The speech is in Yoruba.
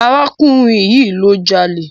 Arákùnrin yìí ló jalé